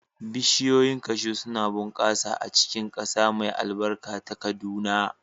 Bishiyoyin cashew suna bunƙasa a cikin ƙasa mai albarka ta Kaduna.